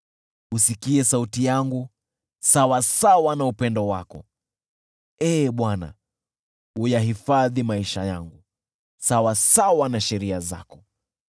Usikie sauti yangu sawasawa na upendo wako, Ee Bwana , uyahifadhi maisha yangu, sawasawa na sheria zako.